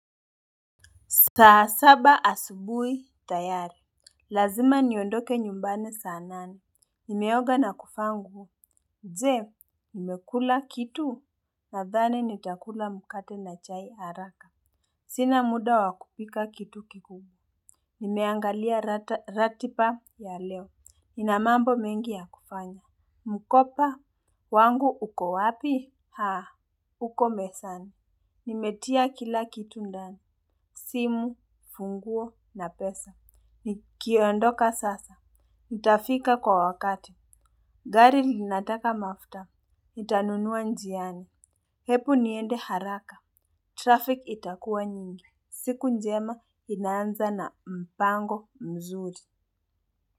Saa saba asubui tayari. Lazima niondoke nyumbani saa nane. Nimeoga na kufangu. Je, nimekula kitu na dhani nitakula mkate na chai haraka. Sina muda wakupika kitu kikubwa. Nimeangalia rati pa ya leo. Inamambo mengi ya kufanya. Mukopa, wangu uko wapi? Huko mesani. Nimetia kila kitu ndani. Simu, funguo na pesa. Ni kiondoka sasa. Nitafika kwa wakati. Gari linataka mafta. Itanunua njiani. Hepu niende haraka. Traffic itakua nyingi. Siku njema inaanza na mpango mzuri.